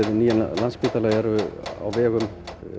nýjan Landspítala eru á vegum